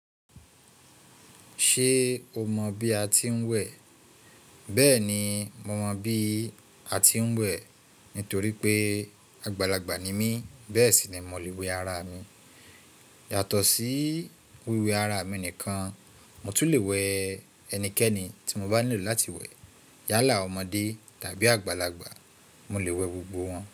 Ṣé o mọ bí a ti ń wẹ̀? Bẹ́ẹ̀ni, mo mọ bí a ti ń wẹ̀ nítorí pé àgbàlagbà ni mí, bẹ́ẹ̀ sì ni mo lè wẹ ara mi. Yàtọ̀ sí wíwẹ ara mi nìkan, mo tún lè wẹ ẹnikẹ́ni tí mo bá nílò láti wẹ̀. Yálà, ọmọdé tàbí àgbàlagbà, mo lè wẹ gbogbo wọn.